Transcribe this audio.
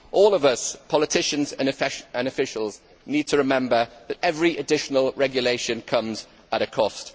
All of us, politicians and officials, need to remember that every additional regulation comes at a cost.